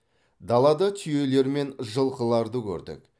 далада түйелер мен жылқыларды көрдік